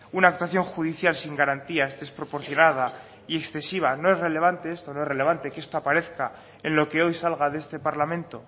una actuación judicial sin garantías desproporcionada y excesiva no es relevante esto no es relevante que esto aparezca en lo que hoy salga de este parlamento